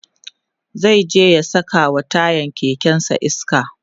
zai je ya sakawa tayan kekensa iska